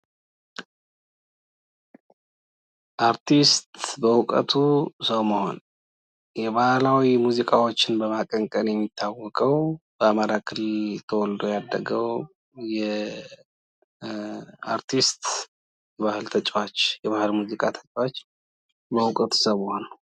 አርቲስት በዉቀቱ ሰው መሆን የባህላዊ ሙዚዎችን በማቀንቀን የሚታወቀው በአማራ ክልል ተወልዶ ያደገው የአርቲስት ባህል ተጫዋች የሆነው የባህል ሙዚቃ ተጫዋች በእዉቀቱ ሰው መሆን።